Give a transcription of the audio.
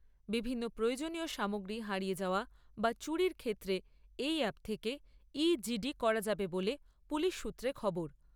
বিভিন্ন প্রয়োজনীয় সামগ্রী হারিয়ে যাওয়া বা চুরির ক্ষেত্রে এই অ্যাপ থেকে করা যাবে বলে পুলিশ সূত্রে খবর।